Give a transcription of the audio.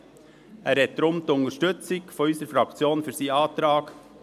Er hat deshalb die Unterstützung unserer Fraktion für seinen Antrag.